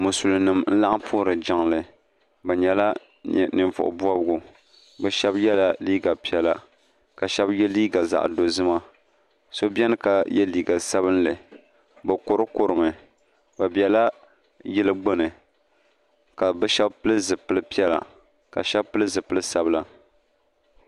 Musulinim n laɣim puhiri jingli bɛ nyɛla ninvuɣu bɔbigu bɛ shɛba yɛla liiga piɛlla ka shɛba yɛ liiga zaɣi dɔzima so beni ka yɛ liiga sabinli bɛ kurukuru mi bɛ bɛla yili gbuni ka bɛ shɛba pili zipili piɛlla ka shɛba pili zipili sabila.